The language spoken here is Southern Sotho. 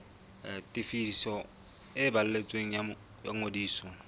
tefiso e balletsweng ya ngodiso